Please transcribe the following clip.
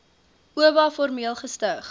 oba formeel gestig